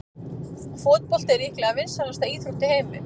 Fótbolti er líklega vinsælasta íþrótt í heimi.